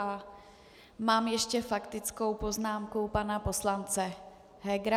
A mám ještě faktickou poznámku pana poslance Hegera.